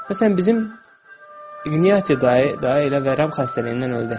Məsələn, bizim İqnati dayı elə vərəm xəstəliyindən öldü.